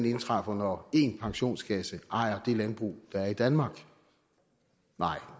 indtræffer når én pensionskasse ejer det landbrug der er i danmark nej